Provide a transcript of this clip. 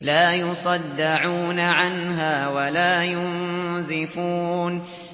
لَّا يُصَدَّعُونَ عَنْهَا وَلَا يُنزِفُونَ